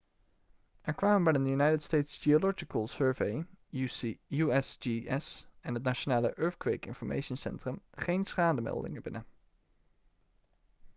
er kwamen bij de united states geological survey usgs en het national earthquake information centrum geen schademeldingen binnen